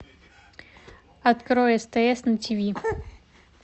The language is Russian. открой стс на ти ви